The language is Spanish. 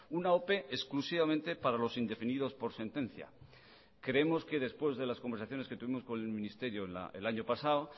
una ope exclusivamente para los indefinidos por sentencia creemos que después de las conversaciones que tuvimos con el ministerio el año pasado